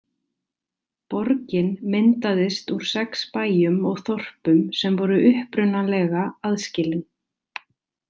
Borgin myndaðist úr sex bæjum og þorpum sem voru upprunalega aðskilin.